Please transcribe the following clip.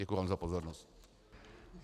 Děkuji vám za pozornost.